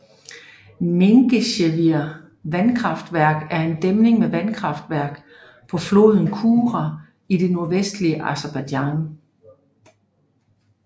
Mingechevir vandkraftværk er en dæmning med vandkraftværk på floden Kura i det nordvestlige Aserbajdsjan